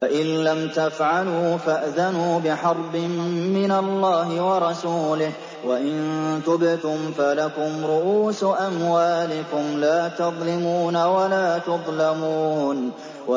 فَإِن لَّمْ تَفْعَلُوا فَأْذَنُوا بِحَرْبٍ مِّنَ اللَّهِ وَرَسُولِهِ ۖ وَإِن تُبْتُمْ فَلَكُمْ رُءُوسُ أَمْوَالِكُمْ لَا تَظْلِمُونَ وَلَا تُظْلَمُونَ